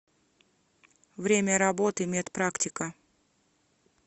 время работы медпрактика